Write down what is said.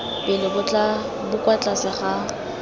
pele bo kwa tlase ga